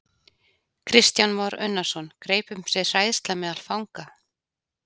Kristján Már Unnarsson: Greip um sig hræðsla meðal fanga?